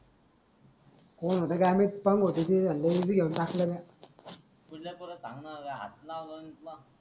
तउजय कडून सांग न हात लावत असते का?